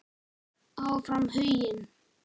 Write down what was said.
Áfram Huginn.